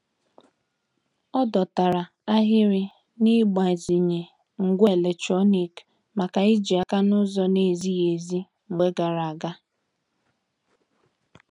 Ọ dọtara ahịrị n'igbazinye ngwá eletrọnịkị maka ijì aka n'ụzọ na-ezighị ezi mgbe gara aga.